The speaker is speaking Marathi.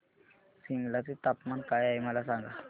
सिमला चे तापमान काय आहे मला सांगा